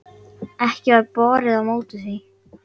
Ekki varð borið á móti því.